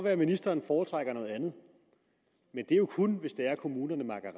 at ministeren foretrækker noget andet men det er jo kun hvis kommunerne makker